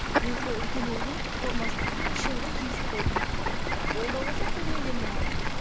мен сол үлкен ұлдың формасын кіші ұлға кигізіп қойдым иә ол да болса көмек енді маған